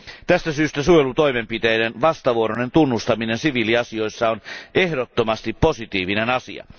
Tästä syystä suojelutoimenpiteiden vastavuoroinen tunnustaminen siviiliasioissa on ehdottomasti positiivinen asia.